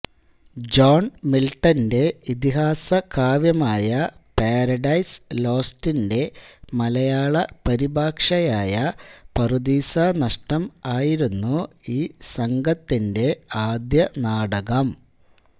John മിൽട്ടന്റെ ഇതിഹാസ്യകാവ്യമായ Paradise ലോസ്റ്റിന്റെ മലയാള പരിഭാഷയായ പറുദീസാ നഷ്ടം ആയിരുന്നു ഈ സംഘത്തിന്റെ ആദ്യനാടകം